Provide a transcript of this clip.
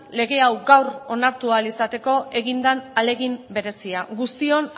lege hau gaur onartu ahal izateko egin den ahalegin berezia guztion